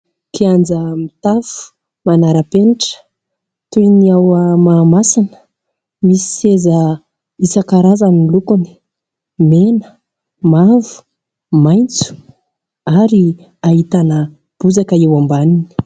Kianja mitafo, manara-penitra toy ny ao Mahamasina. Misy seza isankarazany ny lokony mena, mavo, maitso ary ahitana bozaka eo ambaniny.